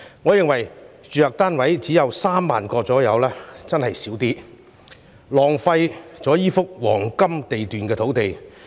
我認為只有約3萬個住宅單位的確太少，浪費了這幅黃金地段土地。